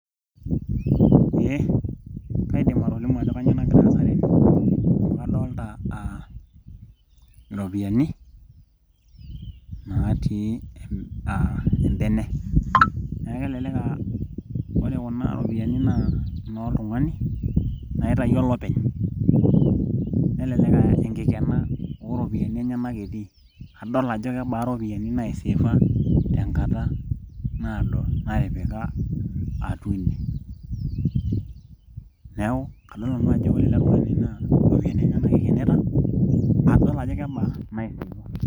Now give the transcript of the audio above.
Eeh kaidim atolimu ajo kanyioo nagira aasa tene amu kadoolta aa iropiyiani naatii aaa a embene neeku kelelek aa ore kuna ropiyiani naa ino tung'ani naitayio olopeny nelelek aa enkilena ooropiyiani enyanak etii adol ajo kebaa iropiyiani naiseefa tenkata naado natipika atua ine neeku kadol nanu ajo ore ele tung'ani naa iropiyiani enyanak eikenita adol ajo kebaa .